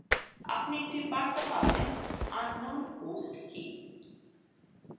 আপনি একটি বার্তা পাবেনunknown host key